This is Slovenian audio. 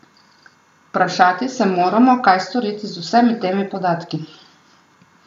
Vprašati se moramo, kaj storiti z vsemi temi podatki.